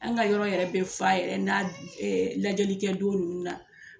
An ka yɔrɔ yɛrɛ be fa yɛrɛ n'a ɛɛ lajɛlikɛ don nunnu na.